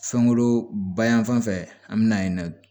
Fɛnko bayanan fan fɛ an bɛ na yen nɔ